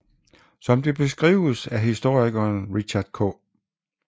Som det beskrives af historikeren Richard K